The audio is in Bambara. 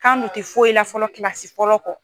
K'an nun tɛ foyi la fɔlɔ kilasi fɔlɔ kɔ.